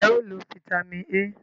Nje o lo Fítàmì A?